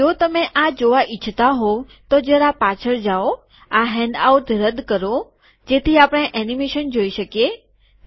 તો જો તમે આ જોવા ઈચ્છતા હોવ તો જરા પાછળ જાઓ આ હેન્ડઆઉટ રદ્દ કરો જેથી આપણે એનીમેશન જોઈ શકીએ